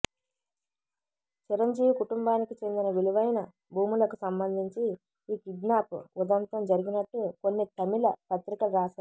చిరంజీవి కుటుంబానికి చెందిన విలువైన భూములకు సంబంధించి ఈ కిడ్నాప్ ఉదంతం జరిగినట్టు కొన్ని తమిళపత్రికలు రాశాయి